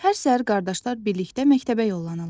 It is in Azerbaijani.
Hər səhər qardaşlar birlikdə məktəbə yollanırlar.